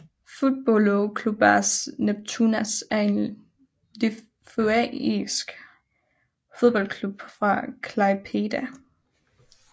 Futbolo klubas Neptūnas er en litauisk fodboldklub fra Klaipėda